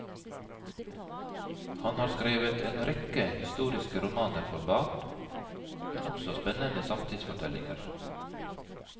Han har skrevet en rekke historiske romaner for barn, men også spennende samtidsfortellinger.